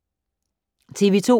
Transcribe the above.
TV 2